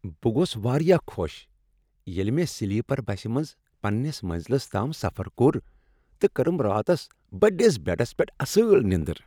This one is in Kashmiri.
بہٕ گوس واریاہ خوش ییٚلہ مےٚ سلیپر بسِہ منز پننس منزلس تام سفر کوٚر تہٕ کٔرم راتس بٔڈس بیڈس پیٹھ اصل نیندر ۔